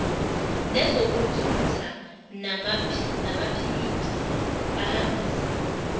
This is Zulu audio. nezokuthutha namaphiyiphi ahambisa